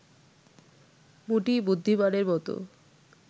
মোটেই বুদ্ধিমানের মতো